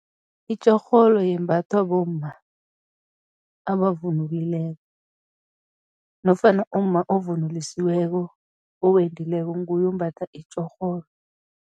Itjorholo yembathwa bomma abavunulileko nofana umma ovunulusiweko, owendileko, nguye ombatha itjorholo.